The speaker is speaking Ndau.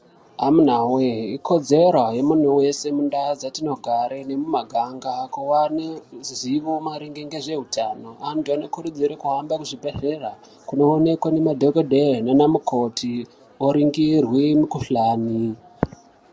Amuna wee!ikodzera yemuntu wese mundau dzatinogare nemuma ganga awaneruzivo maringe ngezvehutano. Antu anokurudzirwe kuhamba kuzvibhedlera kunowonekwa ngemadhogodheya nanamukoti oringirwe mukuhlani.